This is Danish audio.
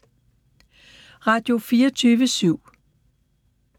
Radio24syv